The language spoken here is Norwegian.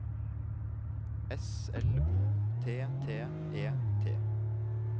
S L O T T E T